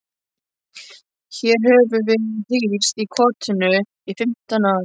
Hér höfum við hírst í kotinu í fimmtán ár.